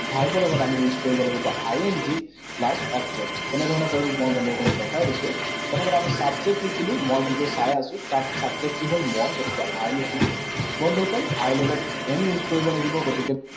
Verb ৰ লগত আমি use কৰিব লাগিব I N G, plus object, কেনেধৰণেৰে কৰিম মই বন্ধুসকলক দেখাই দিছো। প্ৰথমতে আমি subject লিখিলো, মই ভিডিঅ চাই আছো। তাত subject কি হল? মই, গতিকে I লিখিলো। বন্ধুসকল, I লগত am use কৰিব লাগিব। গতিকে